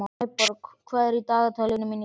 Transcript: Snæborg, hvað er í dagatalinu mínu í dag?